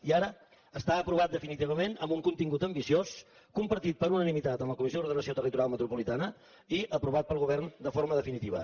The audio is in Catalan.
i ara està aprovat de finitivament amb un contingut ambiciós compartit per unanimitat en la comissió d’ordenació territorial metropolitana i aprovat pel govern de forma definitiva